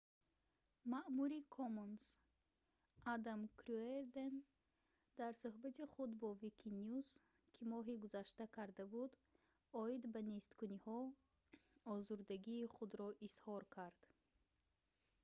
маъмури commons адам кюерден дар сӯҳбати худ бо wikinews ки моҳи гузашта карда буд оид ба несткуниҳо озурдагии худро изҳор кард